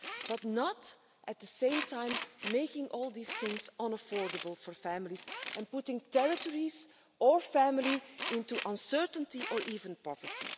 But not while at the same time making all these things unaffordable for families and putting territories or families into uncertainty or even poverty.